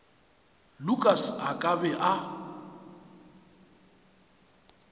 lukas a ka be a